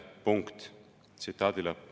Punkt.